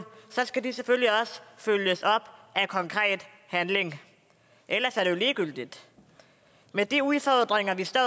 skal de selvfølgelig også følges op af konkret handling ellers er det jo ligegyldigt med de udfordringer vi står